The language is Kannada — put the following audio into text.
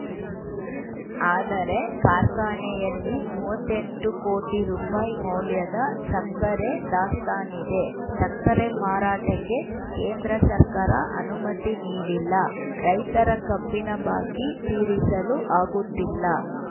ಆದರೆ ಕಾರ್ಖಾನೆಯಲ್ಲಿ ಮೂವತ್ತ್ ಎಂಟು ಕೋಟಿ ರೂಪಾಯಿ ಮೌಲ್ಯದ ಸಕ್ಕರೆ ದಾಸ್ತಾನಿದೆ ಸಕ್ಕರೆ ಮಾರಾಟಕ್ಕೆ ಕೇಂದ್ರ ಸರ್ಕಾರ ಅನುಮತಿ ನೀಡಿಲ್ಲ ರೈತರ ಕಬ್ಬಿನ ಬಾಕಿ ತೀರಿಸಲು ಆಗುತ್ತಿಲ್ಲ